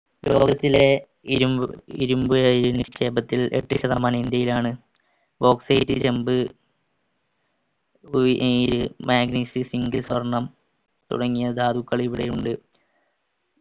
ലോകത്തിലെ ഇരുമ്പ് ഇരുമ്പ് ഏർ നിക്ഷേപത്തിൽ എട്ട് ശതമാനം ഇന്ത്യയിലാണ് ഏർ magnesium zinc സ്വർണം തുടങ്ങിയ ധാതുക്കൾ ഇവിടെയുണ്ട്